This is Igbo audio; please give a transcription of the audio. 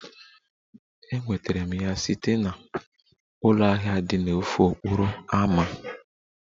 Enwetara m ya site na ụlọ ahịa dị n'ofe okporo ámá.